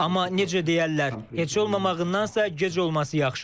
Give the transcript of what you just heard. Amma necə deyərlər, heç olmamağındansa gec olması yaxşıdır.